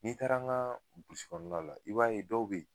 N'i taara an ka burusi kɔnɔna la, i b'a ye dɔw be yen